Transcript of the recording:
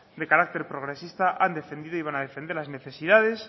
de carácter progresista han defendido y van a defender las necesidades